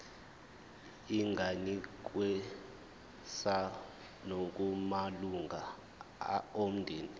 inganikezswa nakumalunga omndeni